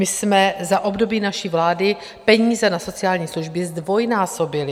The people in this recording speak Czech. My jsme za období naší vlády peníze na sociální služby zdvojnásobili.